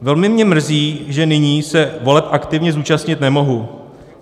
Velmi mě mrzí, že nyní se voleb aktivně zúčastnit nemohu.